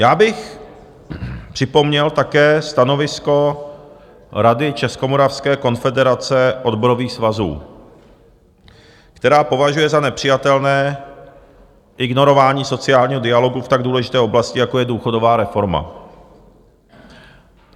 Já bych připomněl také stanovisko Rady Českomoravské konfederace odborových svazů, která považuje za nepřijatelné ignorování sociálního dialogu v tak důležité oblasti, jako je důchodová reforma.